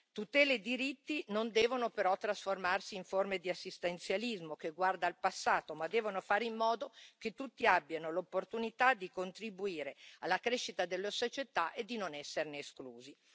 Tutele e diritti non devono però trasformarsi in forme di assistenzialismo che guarda al passato, ma devono fare in modo che tutti abbiano l'opportunità di contribuire alla crescita della società e di non esserne esclusi.